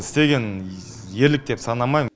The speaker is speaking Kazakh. істеген ерлік деп санамаймын